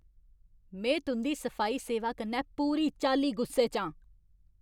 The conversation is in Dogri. में तुं'दी सफाई सेवा कन्नै पूरी चाल्ली गुस्से च आं।